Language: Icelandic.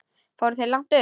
Fóruð þér langt upp?